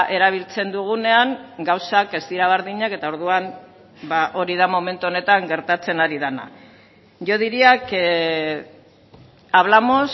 erabiltzen dugunean gauzak ez dira berdinak eta orduan hori da momentu honetan gertatzen ari dena yo diría que hablamos